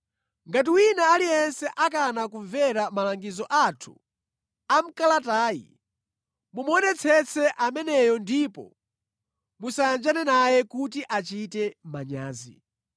Ngati wina aliyense akana kumvera malangizo athu a mʼkalatayi, mumuonetsetse ameneyo ndipo musayanjane naye kuti achite manyazi.